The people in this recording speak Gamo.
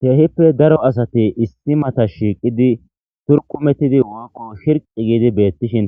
Teehippe daro asati issi mata shiiqidi turqumettidi woykko shirqi giidi beettishin